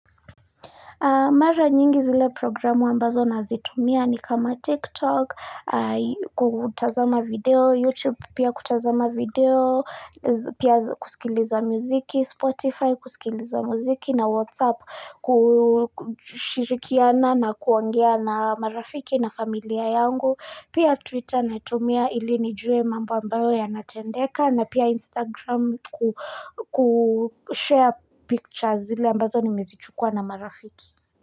Mara nyingi zile programu ambazo nazitumia ni kama TikTok, kutazama video, YouTube pia kutazama video, pia kusikiliza muziki, Spotify kusikiliza muziki na WhatsApp kushirikiana na kuongea na marafiki na familia yangu. Pia Twitter naitumia ili nijue mambo ambayo yanatendeka na pia Instagram kushare pictures zile ambazo nimezichukua na marafiki.